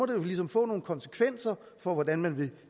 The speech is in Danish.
jo ligesom få nogle konsekvenser for hvordan man vil